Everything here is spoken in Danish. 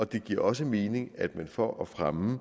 det giver også mening at man for at fremme